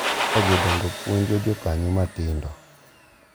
Ka jodongo puonjo jokanyo matindo